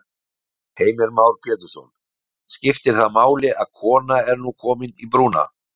Heimir Már Pétursson: Skiptir það máli að kona er nú komin í brúna?